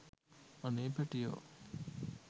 අනේ පැටියෝ